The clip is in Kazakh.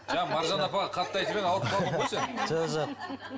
жоқ маржан апа қатты айтып еді ауырып қалдың ғой сен жоқ жоқ